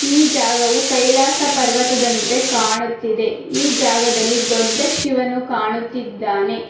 ಈ ಜಾಗವು ಕೈಲಾಸ ಪರ್ವತದಂತೆ ಕಾಣುತ್ತಿದೆ ಈ ಜಗದಲ್ಲಿ ದೊಡ್ಡ ಶಿವನು ಕಾಣುತ್ತಿದ್ದಾನೆ.